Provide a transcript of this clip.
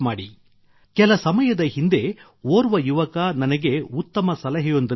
ಕೆಲ ಸಮಯದ ಹಿಂದೆ ಓರ್ವ ಯುವಕ ನನಗೆ ಉತ್ತಮ ಸಲಹೆಯೊಂದನ್ನು ನೀಡಿದ್ದರು